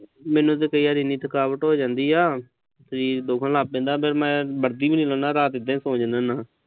ਮੈਨੂੰ ਤੇ ਕਈ ਵਾਰੀ ਇੰਨੀ ਥਕਾਵਟ ਹੋ ਜਾਂਦੀ ਆ। ਸਰੀਰ ਦੁਖਣ ਲੱਗ ਪੈਂਦਾ। ਫਿਰ ਮੈਂ ਵਰਦੀ ਵੀ ਨੀਂ ਲਾਹੁੰਦਾ। ਰਾਤ ਨੂੰ ਏਦਾਂ ਹੀ ਸੌਂ ਜਾਨਾ ਗਾਂ।